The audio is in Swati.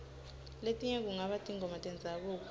letinye kungaba tingoma tendzabuko